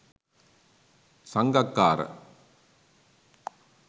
sangakkara